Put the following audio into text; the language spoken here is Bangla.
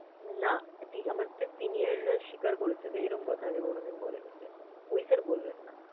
নাহ! এটি~ আমার senior রা স্বীকার করেছে যে, এরকম কথা আগে কোনদিন বলেনি sir । ওই sir বলবেন না।